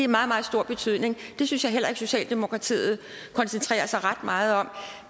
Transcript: meget meget stor betydning det synes jeg heller ikke socialdemokratiet koncentrerer sig ret meget om